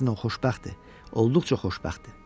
Əksinə, o xoşbəxtdir, olduqca xoşbəxtdir.